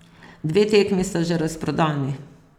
Dve tekmi sta že razprodani.